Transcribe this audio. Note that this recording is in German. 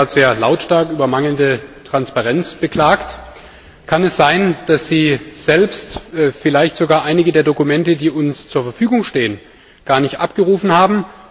Sie haben sich gerade sehr lautstark über mangelnde Transparenz beklagt. Kann es sein, dass Sie selbst vielleicht sogar einige der Dokumente, die uns zur Verfügung stehen, gar nicht abgerufen haben?